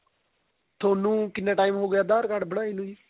ਤੁਹਾਨੂੰ ਕਿੰਨਾ time ਹੋ ਗਿਆ aadhar card ਬਣਾਏ ਨੂੰ ਜੀ